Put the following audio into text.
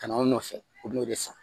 Ka na anw nɔfɛ u bɛn'o de san